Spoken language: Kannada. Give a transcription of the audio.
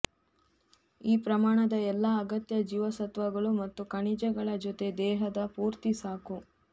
ಈ ಪ್ರಮಾಣದ ಎಲ್ಲಾ ಅಗತ್ಯ ಜೀವಸತ್ವಗಳು ಮತ್ತು ಖನಿಜಗಳ ಜೊತೆ ದೇಹದ ಪೂರ್ತಿ ಸಾಕು